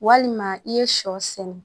Walima i ye sɔ sɛnɛ